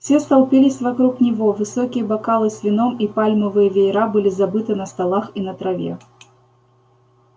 все столпились вокруг него высокие бокалы с вином и пальмовые веера были забыты на столах и на траве